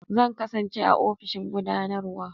Zan kasance a ofishin gudanarwa.